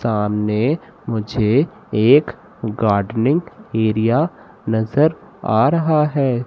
सामने मुझे एक गार्डनिंग एरिया नजर आ रहा है।